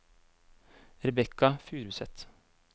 Rebekka Furuseth